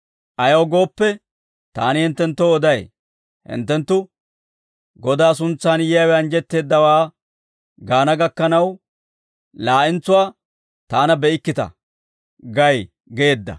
Ayaw gooppe, taani hinttenttoo oday; hinttenttu, ‹Godaa suntsaan yiyaawe anjjetteeddawaa gaana gakkanaw, laa'entsuwaa taana be'ikkita› gay» yaageedda.